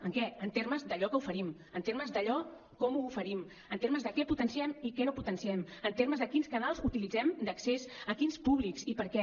en què en termes d’allò que oferim en termes d’allò com ho oferim en termes de què potenciem i què no potenciem en termes de quins canals utilitzem d’accés a quins públics i per a què